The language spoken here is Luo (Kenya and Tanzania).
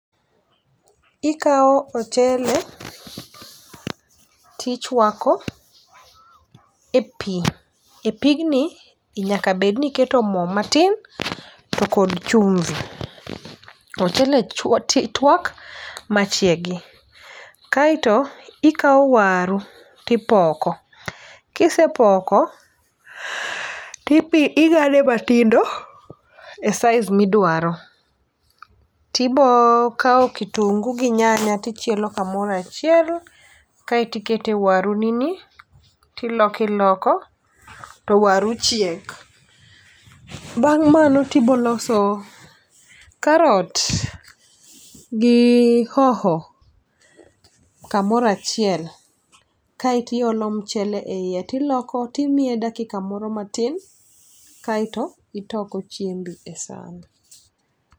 Ikawo ochele tichwako e pii e pigni nyaka bed ni iketo moo matin to kod chumbi. to ochele chi twak machiegi. Kaeto ikawo waru tipoko kisepoko tibi ting'ade matindo e size midwaro tibo kawo kitungu gi nyanya tichielo kamorachiel kaeti kete waru ni ni tiloko iloko to waru chiek . Bang' mano tibo loso karot gi hoho kamorachiel kaeti olo mchele e iye tiloko timiye dakika moro matin kaeto itoko chiembi e san.